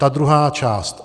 Ta druhá část.